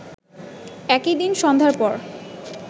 একই দিন সন্ধ্যার পর